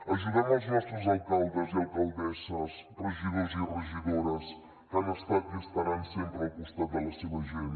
ajudem els nostres alcaldes i alcaldesses regidors i regidores que han estat i estaran sempre al costat de la seva gent